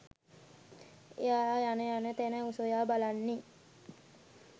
එයා යන යන තැන සොයා බලන්නේ